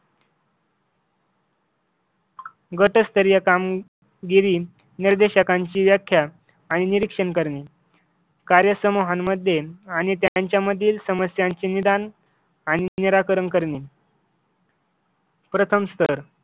गटस्थरीय काम गिरी निर्देशांकांची व्याख्या आणि निरीक्षण करणे कार्य समूहांमध्ये आणि त्यांच्या मधील समस्यांचे निदान आणि निराकरण करणे प्रथम स्तर